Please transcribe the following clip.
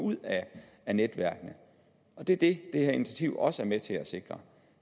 ud af netværkene det er det det her initiativ også er med til at sikre